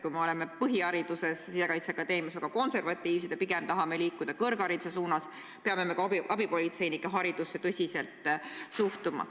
Kui me oleme Sisekaitseakadeemias põhilise hariduse andmisel väga konservatiivsed ja pigem tahame liikuda kõrghariduse suunas, siis peame ka abipolitseinike haridusse tõsiselt suhtuma.